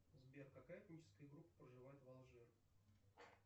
сбер какая этническая группа проживает в алжир